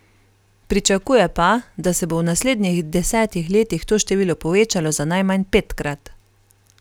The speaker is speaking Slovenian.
Pričakuje pa, da se bo v naslednjih desetih letih to število povečalo za najmanj petkrat.